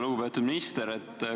Lugupeetud minister!